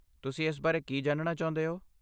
ਤੁਸੀਂ ਇਸ ਬਾਰੇ ਕੀ ਜਾਣਣਾ ਚਾਹੁੰਦੇ ਹੋ?